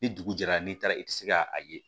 Ni dugu jɛra n'i taara i tɛ se ka a ye